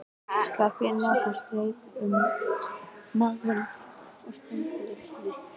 Skarphéðinn Njálsson strauk um magann og stundi öðru sinni.